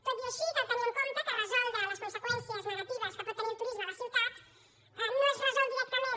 tot i així cal tenir en compte que resoldre les conseqüències negatives que pot tenir el turisme a la ciutat no es resol directament